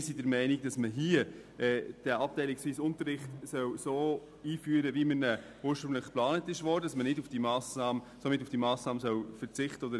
Wir sind der Meinung, dass man den abteilungsweisen Unterricht so einführen soll, wie dieser ursprünglich geplant wurde und somit auf die vom Regierungsrat vorgeschlagene Massnahme verzichtet.